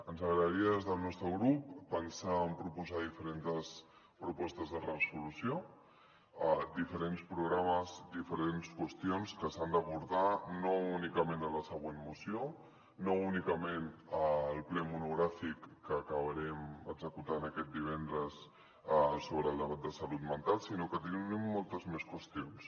ens agradaria des del nostre grup pensar en proposar diferents propostes de resolució diferents programes diferents qüestions que s’han d’abordar no únicament en la següent moció no únicament al ple monogràfic que acabarem executant aquest divendres sobre el debat de salut mental sinó que tenim moltes més qüestions